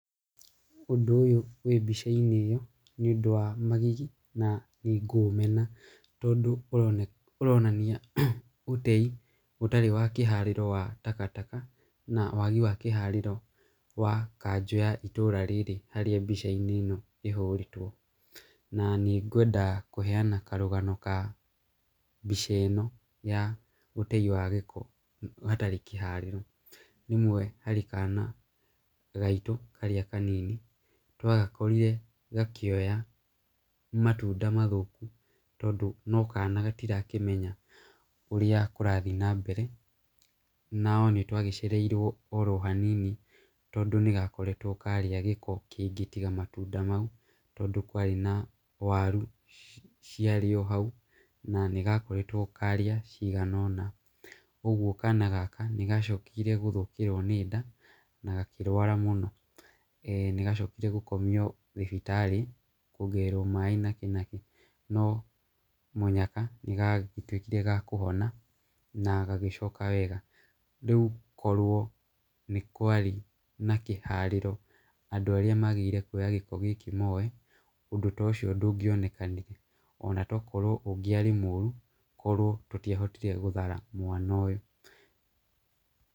Ũndũ ũyũ wĩ mbica-inĩ ĩyo, ĩi ũndũ wa magigi na ngũumena, tondũ ũronania ũtei ũtarĩ wa kĩharĩro wa takataka, na wagi wa kĩharĩro wa kanjũ ya itũra rĩrĩ, harĩa mbica ĩno ĩhũrĩtwo, na nĩ ngweda kũheana karũgano ga mbica ĩno ya ũtei wa gĩko ũtarĩ kĩharĩro , rĩmwe harĩ kana gaitũ karĩa kanini twagakorire gakĩoya matunda mathũku, tondũ no kana gatira kĩmenya ũrĩa kũrathiĩ na mbere, nao nĩtwagĩcereirwo o hanini tondũ nĩgakoretwo karĩa gĩko kĩngĩ tiga matunda mau, tondũ kwarĩ na waru, ciarĩ o hau na nĩ gakoretwo karĩa cigana nona, ũgwo kana gaka nĩgacokire gũthũkĩrwo nĩ nda, nagakĩrwara mũno, e nĩgacokire gũkomio thibitarĩ , kwongererwo maaĩ nakĩ nakĩ, no mũnyaka nĩgatwĩkire ga kũhona na gagĩcoka wega, rĩu korwo nĩ kwarĩ na kĩharĩro andũ arĩa magĩrĩirwo kuoya gĩko gĩkĩ moe, ũndũ ta ũcio ndũgĩonekanire, na tokrwo ũngĩarĩ mũru okorwo tũtiahotire gũthara mwana ũyũ.